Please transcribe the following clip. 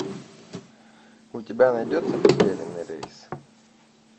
у тебя найдется потерянный рейс